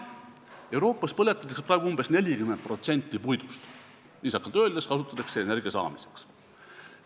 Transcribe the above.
Euroopas praegu umbes 40% puidust põletatakse, viisakalt öeldes kasutatakse energia saamiseks.